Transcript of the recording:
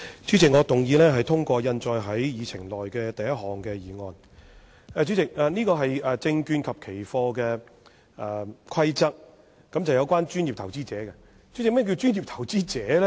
主席，這項議案是關於《2018年證券及期貨規則》，和專業投資者有關，但何謂"專業投資者"呢？